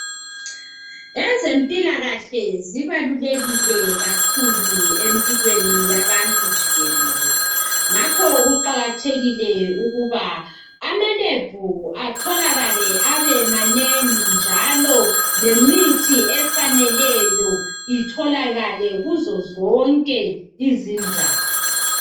Ezempilakahle zibalulekile kakhulu empilweni zabantu jikelele ngakho kuqakathekile ukuthi ama lab atholakale abemanengi njalo lemithi efaneleyo itholakale kuzozonke izindawo.